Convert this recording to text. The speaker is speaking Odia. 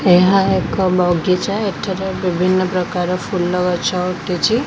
ଏହା ଏକ ବଗିଚା ଏଠାରେ ବିଭିନ୍ନ ପ୍ରକାର ଫୁଲ ଗଛ ଉଠୁଚି।